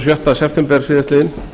sjötta september síðastliðinn